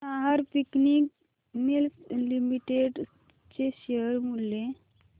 Nahar spinning mills limited चे share मूल्य